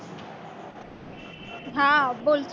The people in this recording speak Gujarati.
હા બોલશો